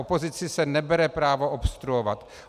Opozici se nebere právo obstruovat.